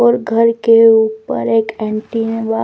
और घर के ऊपर एक एंटीना --